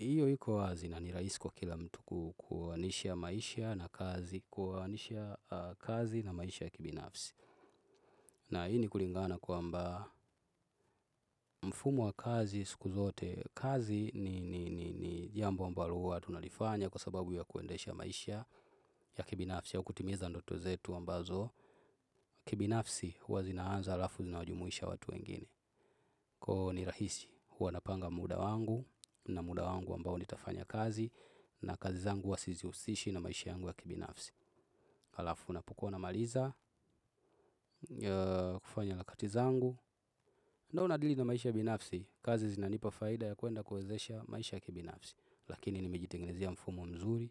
Iyo iko wazi na ni rahisi kwa kila mtu kuoanisha maisha na kazi kuoanisha kazi na maisha ya kibinafsi. Na ini kulingana kwamba mfumo wa kazi siku zote kazi ni jambo ambalo huwa tunalifanya kwa sababu ya kuendesha maisha ya kibinafsi au kutimiza ndoto zetu ambazo kibinafsi huwa zinaanza alafu zinawajumuisha watu wengine. Kwa ni rahisi, huwa napanga muda wangu na muda wangu ambao ni tafanya kazi na kazi zangu huwa sizihusishi na maisha yangu ya kibinafsi. Alafu unapokua na maliza, kufanya harakati zangu, na unadili na maisha ya binafsi, kazi zinanipa faida ya kuenda kuwezesha maisha ya kibinafsi. Lakini ni mejitengenezea mfumo mzuri,